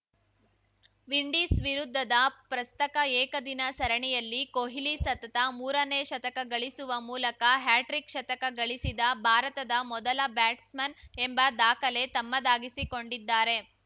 Windies ವಿರುದ್ಧದ ಪ್ರಸಕ್ತ ಏಕದಿನ ಸರಣಿಯಲ್ಲಿ ಕೊಹ್ಲಿ ಸತತ ಮೂರನೇ ಶತಕ ಗಳಿಸುವ ಮೂಲಕ ಹ್ಯಾಟ್ರಿಕ್‌ ಶತಕ ಗಳಿಸಿದ ಭಾರತದ ಮೊದಲ ಬ್ಯಾಟ್ಸ್‌ಮನ್‌ ಎಂಬ ದಾಖಲೆ ತಮ್ಮದಾಗಿಸಿಕೊಂಡಿದ್ದಾರೆ